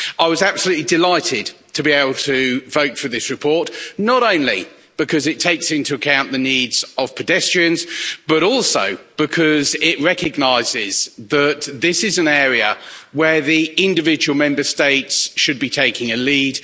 I was absolutely delighted to be able to vote for this report, not only because it takes into account the needs of pedestrians, but also because it recognises that this is an area where the individual Member States should be taking a lead.